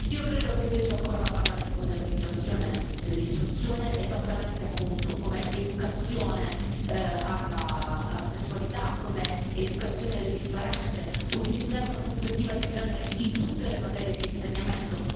Io credo che invece occorra parlare di modernizzazione dell'istruzione, esattamente appunto come educazione alla sessualità, come educazione alle differenze, e utilizzare una prospettiva di genere in tutte le materie di insegnamento.